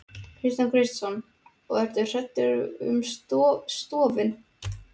Kristján Kristjánsson: Og ertu hræddur um stofninn?